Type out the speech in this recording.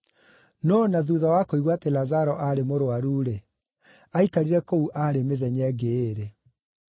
No o na thuutha wa kũigua atĩ Lazaro aarĩ mũrũaru-rĩ, aikarire kũu aarĩ mĩthenya ĩngĩ ĩĩrĩ.